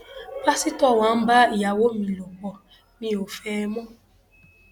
pásítọ wá ń bá ìyàwó mi lọ pó mi ò fẹ ẹ mọ